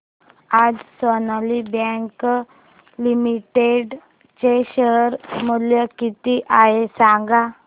आज Sonali bank limited चे share मूल्य किती आहे सांगा